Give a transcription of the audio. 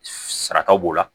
Sarakaw b'o la